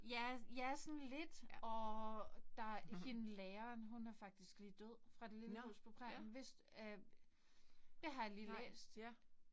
Ja ja sådan lidt. Og der hende læreren hun er faktisk lige død. Fra det lille hus på prærien. Vidste øh det har jeg lige læst